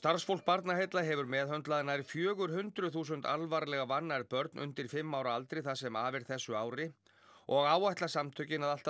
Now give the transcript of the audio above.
starfsfólk Barnaheilla hefur meðhöndlað nær fjögur hundruð þúsund alvarlega vannærð börn undir fimm ára aldri það sem af er þessu ári og áætla samtökin að allt að